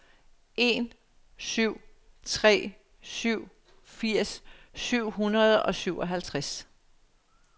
en syv tre syv firs syv hundrede og syvoghalvtreds